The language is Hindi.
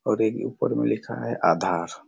और एक ऊपर में लिखा है आधार--